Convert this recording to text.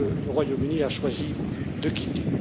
que le Royaume Uni a choisi de quitter.